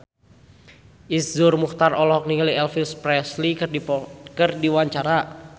Iszur Muchtar olohok ningali Elvis Presley keur diwawancara